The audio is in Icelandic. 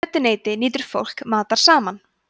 í mötuneyti nýtur fólk matar saman